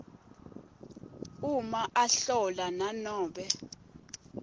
uma ahlola nanobe